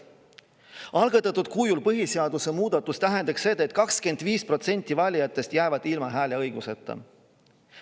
Algatatud kujul tähendaks põhiseaduse muudatus seda, et 25% valijatest jäävad seal ilma hääleõiguseta.